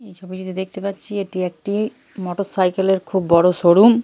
এই ছবিটা দেখতে পাচ্ছি এটি একটি মোটর সাইকেল এর খুব বড় শোরুম ।